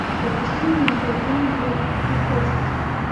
запусти видеофильм гупешка